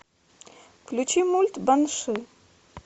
включи мульт банши